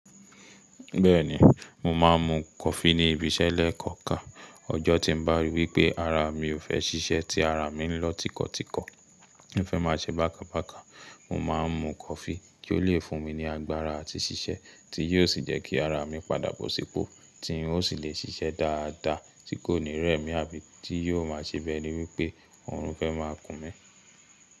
Bẹ́ẹ̀ni, mo máa ń mu coffee ní ibi iṣẹ́ lẹ́kọ̀ọ̀kan. Ọjọ́ tí ń bá rí wí pé ara mi ò fẹ́ ṣiṣẹ́, tí ara mi ń lọ tíkọ̀tíkọ̀, ń fẹ́ máa ṣe bákan bákan, mo máa ń mu coffee kí ó le fún mi ní agbára àti ṣiṣẹ́, tí yóò sì jẹ́ kí ara mi padà bọ̀ sípò, tí n ó sì lè ṣiṣẹ́ dáadáa tí kò ní rẹ̀ mí àbí tí yóò máa ṣe bi eni wípé òórùn fẹ́ máa kún mi.